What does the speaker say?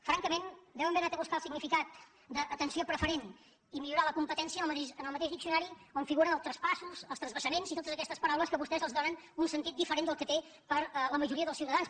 francament deuen haver anat a buscar el significat d’ atenció preferent i millorar la competència en el mateix diccionari on figuren els traspassos els transvasaments i totes aquestes paraules a què vostès els donen un sentit diferent del que té per a la majoria dels ciutadans